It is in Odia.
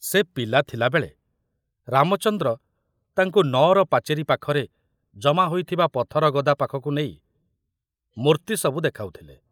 ସେ ପିଲା ଥିଲାବେଳେ ରାମଚନ୍ଦ୍ର ତାଙ୍କୁ ନଅର ପାଚେରୀ ପାଖରେ ଜମା ହୋଇଥିବା ପଥର ଗଦା ପାଖକୁ ନେଇ ମୂର୍ତ୍ତି ସବୁ ଦେଖାଉଥିଲେ।